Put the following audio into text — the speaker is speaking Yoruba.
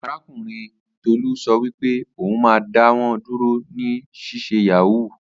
Arakunrin Tolu so wipe oun ma da wọ duro ni sise yahoo.